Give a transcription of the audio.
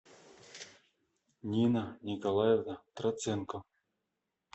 нина николаевна троценко